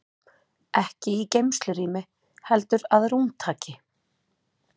Ekki í geymslurými heldur að rúmtaki.